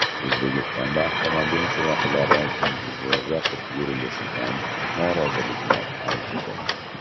O‘zbekistonda avtomobil chiroqlari kunduzi yoqib yurilishidan noroziliklar avjida.